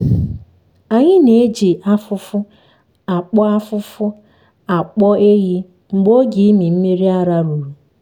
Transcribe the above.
anyị na-eji afụfụ akpọ afụfụ akpọ ehi mgbe oge ịmị mmiri ara ruru.